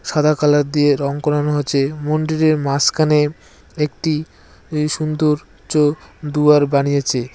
সাদা কালার দিয়ে রং করানো আছে মন্ডিরের মাঝখানে একটি এ সুন্দর্য দুয়ার বানিয়েছে।